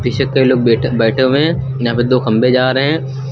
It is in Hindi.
पीछे कई लोग वेटर बैठे हुए हैं यहां पे दो खंभे जा रहे हैं।